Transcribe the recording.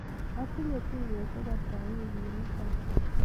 Atinye tuiyosiek ata wikit nitoo'